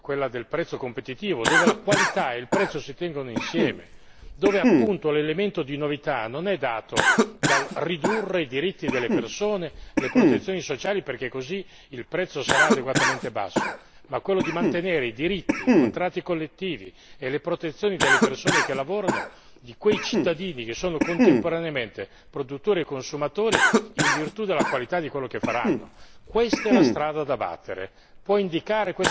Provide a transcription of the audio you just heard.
quella del prezzo competitivo, dove la qualità e il prezzo si tengono insieme, dove appunto l'elemento di novità non è dato dal ridurre i diritti delle persone, le protezioni sociali, perché così il prezzo sarà adeguatamente basso, ma quello di mantenere i diritti, i contratti collettivi e le protezioni delle persone che lavorano, di quei cittadini che sono contemporaneamente produttori e consumatori in virtù della qualità di quello che faranno.